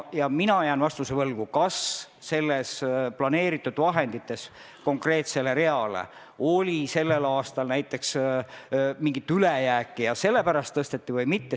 Ja mina jään vastuse võlgu, kas planeeritud vahendites konkreetsele reale oli sellel aastal näiteks mingit ülejääki ja sellepärast tõsteti või mitte.